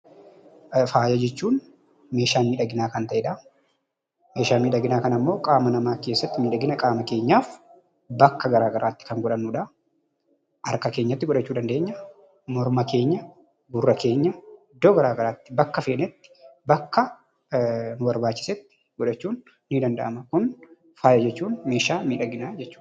Faaya jechuun meeshaa miidhaginaa kan ta'edha. Meeshaa miidhaginaa kana immoo qaama namaa keessatti miidhagina qaama keenyaaf, bakka garaa garaatti kan godhannudha. Harka keenyatti godhachuu dandeenya, morma keenya, gurra keenya, iddoo garaa garaatti, bakka feenetti, bakka nu barbaachisetti godhachuun ni danda'ama. Kun faaya jechuun meeshaa miidhaginaa jechuudha.